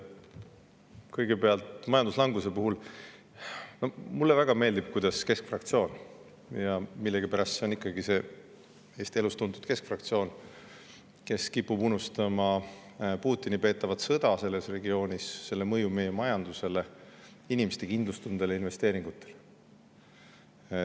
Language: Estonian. Kõigepealt ütlen keskfraktsiooni kohta, et millegipärast see Eesti elus tuntud keskfraktsioon kipub unustama Putini selles regioonis peetavat sõda, selle mõju meie majandusele, inimeste kindlustundele ja investeeringutele.